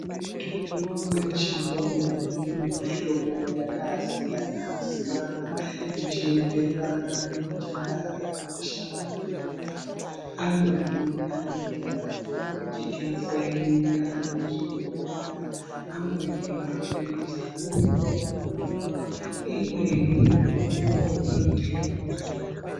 Mitombo yechiyungu iri mumihlobo yakasiyana siyana ichienderana ngenjira yainoshanda ndiyona. Amweni anenge ari mumajekiseni, ari muzvibhodhleya. Amweni maphirizi anoitwe okumwiwa. Imweni mitombo inoite okuzorwa.